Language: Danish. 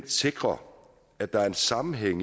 sikrer at der er en sammenhæng